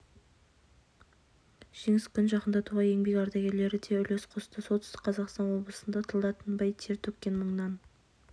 жеңіс күнін жақындатуға еңбек ардагерлері де үлес қосты солтүстік қазақстан облысында тылда тынбай тер төккен мыңнан